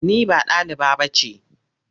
Ni ba ɗaliba ba ce.